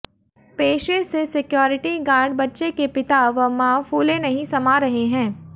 पेशे से security guard बच्चे के पिता व मां फूले नहीं समा रहे हैं